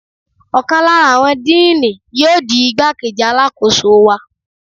Ọ̀kan lára àwọn Díínì yóò di igbá-kejì Alákóso wa.